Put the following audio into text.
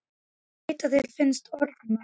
Ég veit að þér finnst ég orðmörg.